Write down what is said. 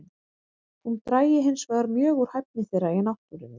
Hún drægi hinsvegar mjög úr hæfni þeirra í náttúrunni.